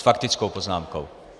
S faktickou poznámkou.